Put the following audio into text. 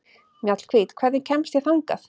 Mjallhvít, hvernig kemst ég þangað?